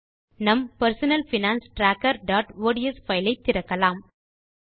நம் personal finance trackerஒட்ஸ் file ஐ திறக்கலாம்